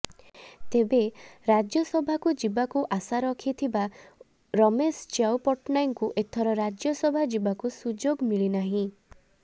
ତେବେ ରାଜ୍ୟସଭାକୁ ଯିବାକୁ ଆଶା ରଖିଥିବା ରମେଶ ଚ୍ୟାଉ ପଟ୍ଟନାୟକଙ୍କୁ ଏଥର ରାଜ୍ୟସଭା ଯିବାକୁ ସୁଯୋଗ ମିଳିନାହିଁ